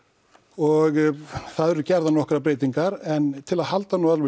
og þar eru gerðar nokkrar breytingar en til að halda